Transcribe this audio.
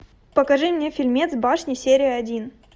покажи мне фильмец башня серия один